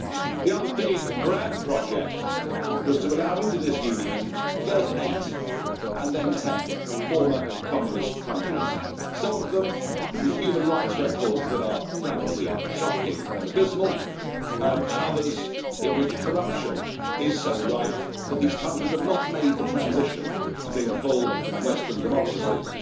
The other big grand project was to allow into this Union first eight, and then ten, former communist countries, some of them with human rights records that are frankly shocking and abysmal, and others in which corruption is so rife that these countries have not made the transition to being full Western democracies.